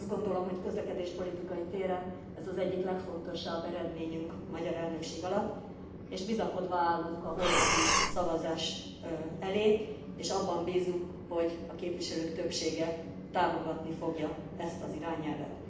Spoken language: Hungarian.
Azt gondolom, hogy közlekedéspolitikai téren ez az egyik legfontosabb eredményünk a magyar elnökség alatt, és bizakodva állunk a holnapi szavazás elé, és abban bízunk, hogy a képviselők többsége támogatni fogja ezt az irányelvet.